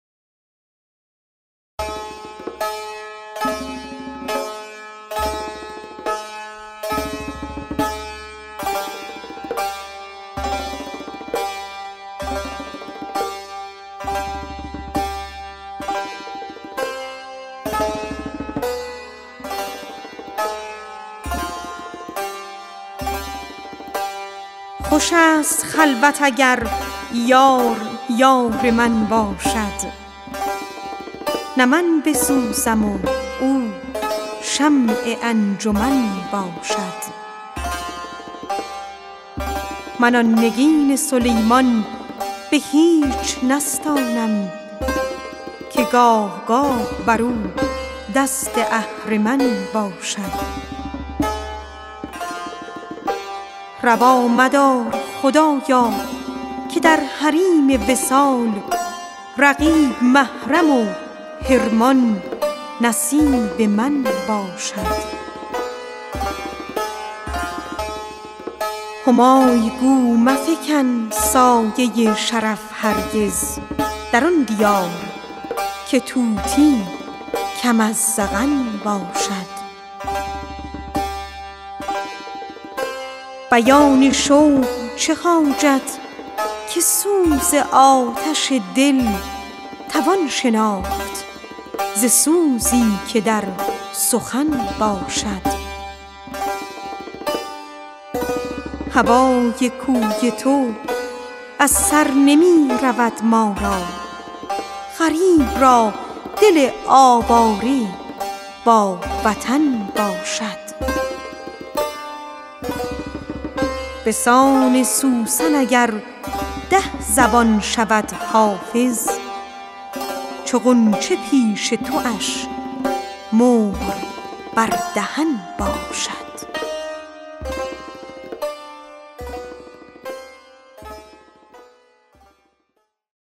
خوش است خلوت اگر یار یار من باشد نه من بسوزم و او شمع انجمن باشد من آن نگین سلیمان به هیچ نستانم که گاه گاه بر او دست اهرمن باشد روا مدار خدایا که در حریم وصال رقیب محرم و حرمان نصیب من باشد همای گو مفکن سایه شرف هرگز در آن دیار که طوطی کم از زغن باشد بیان شوق چه حاجت که سوز آتش دل توان شناخت ز سوزی که در سخن باشد هوای کوی تو از سر نمی رود آری غریب را دل سرگشته با وطن باشد به سان سوسن اگر ده زبان شود حافظ چو غنچه پیش تواش مهر بر دهن باشد